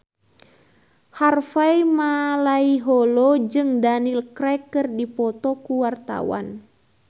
Harvey Malaiholo jeung Daniel Craig keur dipoto ku wartawan